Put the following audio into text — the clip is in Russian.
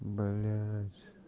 блять